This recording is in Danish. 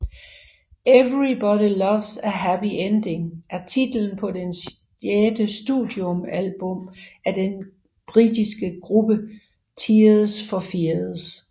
Everybody Loves a Happy Ending er titlen på det sjette studioalbum af den britiske gruppe Tears For Fears